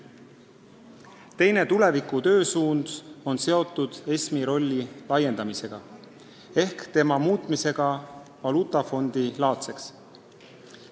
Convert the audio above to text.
Teine tuleviku töösuund on seotud ESM-i rolli laiendamisega ehk selle muutmisega valuutafondilaadseks.